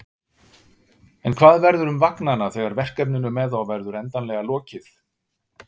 En hvað verður um vagnanna þegar verkefninu með þá verður endanlega lokið?